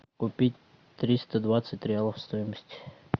купить триста двадцать реалов стоимость